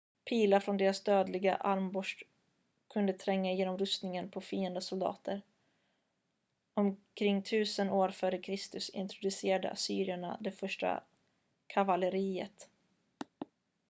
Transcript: pilar från deras dödliga armborst kunde tränga igenom rustningen på fiendesoldater omkring 1000 f.kr introducerade assyrerna det första kavalleriet